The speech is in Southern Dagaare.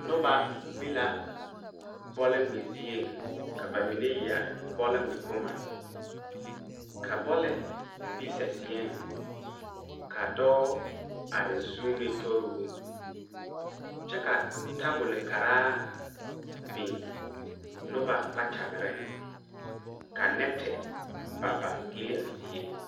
Noba be la bɔlngmɛ zieŋ ka ba mine yɛre bɔlngmɛ bomma ka bɔle be saseɛŋ ka dɔɔ are zuune tori oo kyɛ ka tabolbkaraa biŋ noba kpakyagreŋ ka nɛti ba ba gyille a zie.